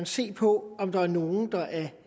se på om der er nogle der er